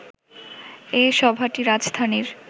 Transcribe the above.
এ সভাটি রাজধানীর